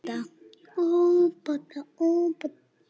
Þetta er hann að læra!